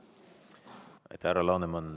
Aitäh, härra Laneman!